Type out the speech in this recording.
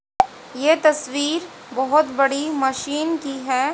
ये तस्वीर बहोत बड़ी मशीन की है।